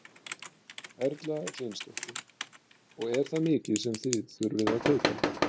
Erla Hlynsdóttir: Og er það mikið sem þið þurfið að kaupa?